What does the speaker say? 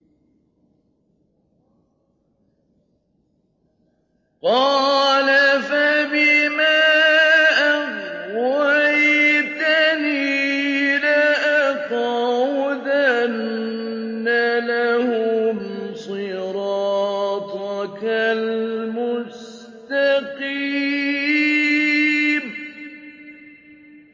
قَالَ فَبِمَا أَغْوَيْتَنِي لَأَقْعُدَنَّ لَهُمْ صِرَاطَكَ الْمُسْتَقِيمَ